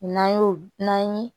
N'an y'o n'an ye